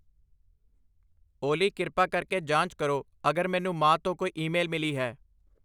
ਓਲੀ ਕਿਰਪਾ ਕਰਕੇ ਜਾਂਚ ਕਰੋ ਅਗਰ ਮੈਨੂੰ ਮਾਂ ਤੋਂ ਕੋਈ ਈਮੇਲ ਮਿਲੀ ਹੈ।